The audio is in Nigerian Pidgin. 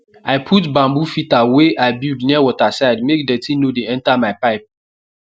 i put bamboo filter wey i build near water side make dirty no dey enter my pipe